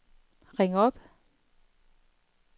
ring op